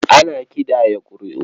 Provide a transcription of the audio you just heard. Ana ƙidaya ƙuri'u.